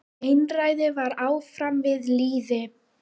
Einræði var áfram við lýði.